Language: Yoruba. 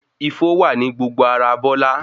Ifó wà ní gbogbo ará Bọ́lá.